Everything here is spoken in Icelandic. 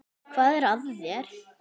Hvað er að þér?